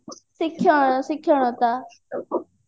ଶିକ୍ଷା ଶିକ୍ଷଣତା